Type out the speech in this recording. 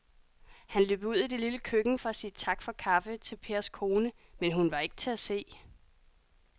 Han løb ud i det lille køkken for at sige tak for kaffe til Pers kone, men hun var ikke til at se.